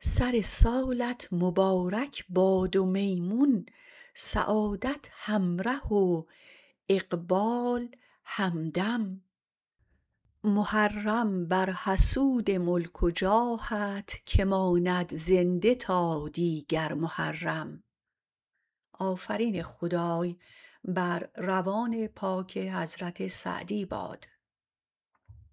سر سالت مبارک باد و میمون سعادت همره و اقبال همدم محرم بر حسود ملک و جاهت که ماند زنده تا دیگر محرم